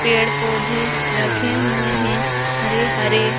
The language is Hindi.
पेड़-पौधे रखे हुए हैं हरे हरे।